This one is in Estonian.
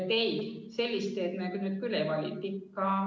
Ei, sellist teed me nüüd küll ei vali.